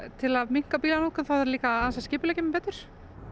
til að minnka bílanotkun þarf ég líka aðeins að skipuleggja mig betur